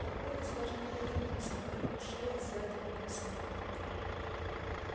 торговец даже не повернулся но его шея сзади покраснела